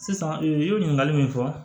Sisan i ye ɲininkali min fɔ